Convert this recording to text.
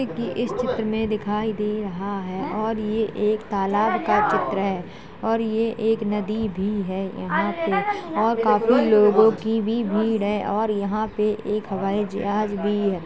की इस चित्र में दिखाई दे रहा है और ये एक तालाब का चित्र है और ये एक नदी भी है| यहाँ पे और काफी लोगों की भी भीड़ है और यहाँ पे एक हवाई जहाज भी है।